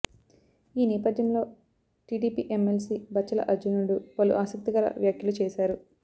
ఈ నేపథ్యంలో టీడీపీ ఎమ్మెల్సీ బచ్చుల అర్జునుడు పలు ఆసక్తికర వ్యాఖ్యలు చేశారు